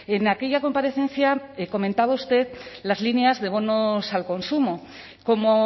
en aquella comparecencia comentaba usted las líneas de bonos al consumo como